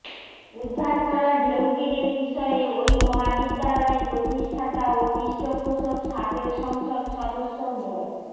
উদ্ধার করা ঢেউটিনের বিষয়ে ওই মহাবিদ্যালয়ের প্রতিষ্ঠাতা ও পৃষ্ঠপোষক সাবেক সংসদ সদস্য মো